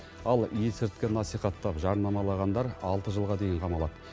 ал есірткі насихаттап жарнамалағандар алты жылға дейін қамалады